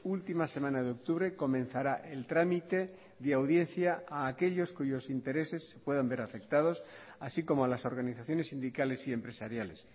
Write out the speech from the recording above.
última semana de octubre comenzará el trámite de audiencia a aquellos cuyos intereses se puedan ver afectados así como a las organizaciones sindicales y empresariales